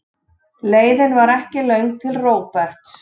Leiðin var ekki löng til Róberts.